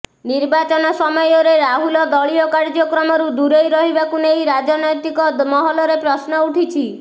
ନିର୍ବାଚନ ସମୟରେ ରାହୁଲ ଦଳୀୟ କାର୍ଯ୍ୟକ୍ରମରୁ ଦୂରେଇ ରହିବାକୁ ନେଇ ରାଜନ୘ତିକ ମହଲରେ ପ୍ରଶ୍ନ ଉଠିଛି